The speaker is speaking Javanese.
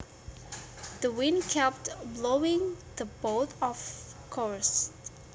The wind kept blowing the boat off course